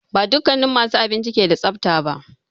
Ba dukannin masu abinci ke da tsafta ba.